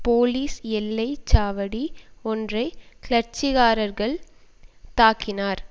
police எல்லை சாவடி ஒன்றை கிளர்ச்சிக்காரர்கள் தாக்கினார்